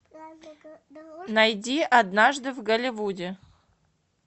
найди однажды в голливуде